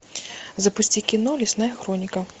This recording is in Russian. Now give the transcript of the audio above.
запусти кино лесная хроника